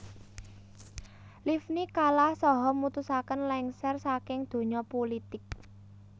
Livni kalah saha mutusaken lengser saking donya pulitik